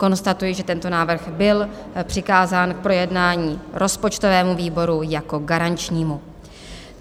Konstatuji, že tento návrh byl přikázán k projednání rozpočtovému výboru jako garančnímu.